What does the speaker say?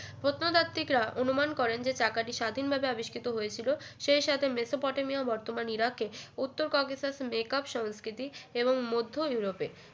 প্রত্নতাত্ত্বিকরা অনুমান করেন যে চাকাটি স্বাধীনভাবে আবিষ্কৃত হয়েছিল সেই সাথে মেসোপটেমীয় বর্তমান ইরাকে উত্তর ককেশাসের মেকআপ সস্কৃতি এবং মধ্য ইউরোপের